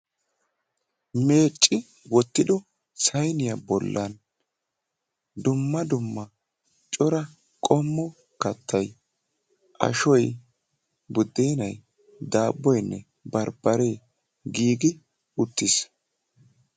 meecci wqottido sayiniyaa bollan dumma dumma cora qommo kattay ashshoy buddenay daaboyinne baribaree giigi uttiis